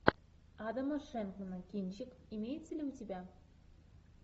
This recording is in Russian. адама шенкмана кинчик имеется ли у тебя